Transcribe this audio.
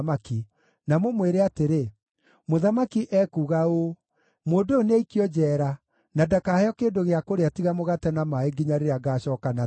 na mũmwĩre atĩrĩ, ‘Mũthamaki ekuuga ũũ: Mũndũ ũyũ nĩaikio njeera na ndakaheo kĩndũ gĩa kũrĩa tiga mũgate na maaĩ nginya rĩrĩa ngaacooka na thayũ.’ ”